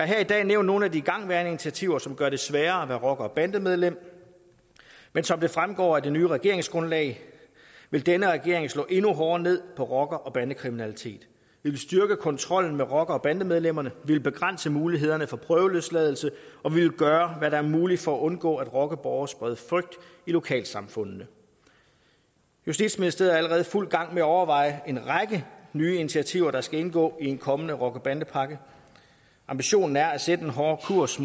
her i dag nævnt nogle af de igangværende initiativer som gør det sværere at være rocker og bandemedlem men som det fremgår af det nye regeringsgrundlag vil denne regering slå endnu hårdere ned på rocker og bandekriminalitet vi vil styrke kontrollen med rockere og bandemedlemmer vi vil begrænse mulighederne for prøveløsladelse og vi vil gøre hvad der er muligt for at undgå at rockerborge spreder frygt i lokalsamfundene justitsministeriet er allerede i fuld gang med at overveje en række nye initiativer der skal indgå i en kommende rocker bande pakke ambitionen er at sætte en hårdere kurs